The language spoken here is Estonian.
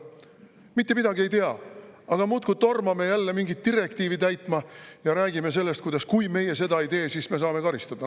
Mitte midagi ei tea, aga muudkui tormame jälle mingit direktiivi täitma ja räägime sellest, kuidas, kui meie seda ei tee, siis me saame karistada.